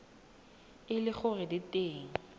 e le gore di teng